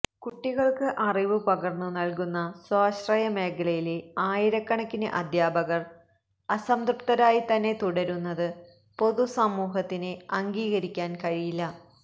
കുട്ടികള്ക്ക് അറിവ് പകര്ന്നു നല്കുന്ന സ്വാശ്രയ മേഖലയിലെ ആയിരക്കണക്കിന് അധ്യാപകര് അസംതൃപ്തരായി തന്നെ തുടരുന്നത് പൊതുസമൂഹത്തിന് അംഗീകരിക്കാന് കഴിയില്ല